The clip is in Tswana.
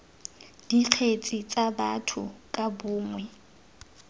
dikgetse tsa batho ka bongwe